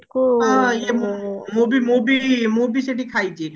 ହଁ ହଁ ମୁଁ ବି ମୁଁ ବି ମୁଁ ବି ସେଠି ଖାଇଛି